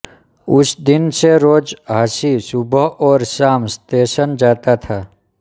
उस दिन से रोज़ हाचि सुबह और शाम स्तेशन जाता था